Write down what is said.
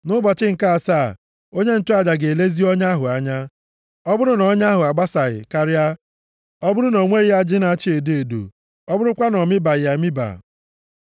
Nʼụbọchị nke asaa onye nchụaja ga-elezi ọnya ahụ anya. Ọ bụrụ na ọnya ahụ abasaghị karịa, ọ bụrụ na o nweghị ajị na-acha edo edo, ọ bụrụkwa na o mibaghị emiba,